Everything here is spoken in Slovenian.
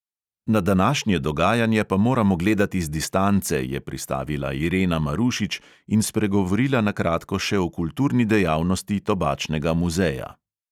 Na današnje dogajanje pa moramo gledati z distance, je pristavila irena marušič in spregovorila na kratko še o kulturni dejavnosti tobačnega muzeja.